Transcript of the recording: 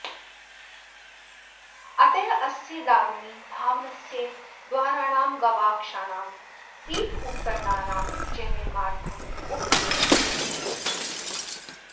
अतः अस्य दारूणि भावनस्य द्वाराणां गवाक्षाणां पीठोपकरणानां च निर्मार्थम् उपयुज्यन्ते